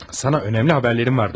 Sana önəmli haberlərim var, dostum.